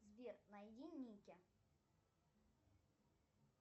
сбер найди ники